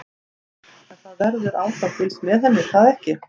Telma: En það verður áfram fylgst með henni er það ekki?